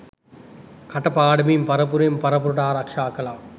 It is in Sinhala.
කට පාඩමින් පරපුරෙන් පරපුරට ආරක්ෂා කළා.